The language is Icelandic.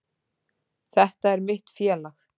Þetta er mitt félag.